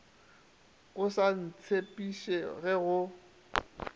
o sa ntsebiše ge go